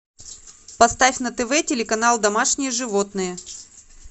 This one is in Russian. поставь на тв телеканал домашние животные